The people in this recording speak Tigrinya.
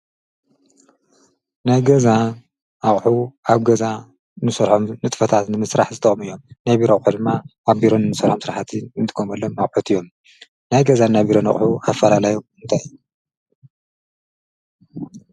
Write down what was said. ናይ ገዛ ኣቝሑ ኣብ ገዛ ንሰርሖም ንጥፈታት ንምስራሕ ዝጠቕሙ እዮም፡፡ ናይቢሮ ኣቑሑድማ ኣብ ቢሮ እንሰርሖም ስርሕቲ እንጥቀመሎም ኣቑሑት እዮም፡፡ ናይ ገዛ ናይ ቢሮን ኣቕሑ ኣፈላላየ እንታይ እዩ?